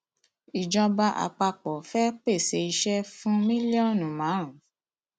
ìjọba àpapọ fẹẹ pèsè iṣẹ fún mílíọnù márùn